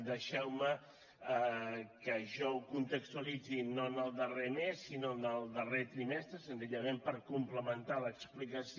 deixeu me que jo ho contextualitzi no en el darrer mes sinó en el darrer trimestre senzillament per complementar l’explicació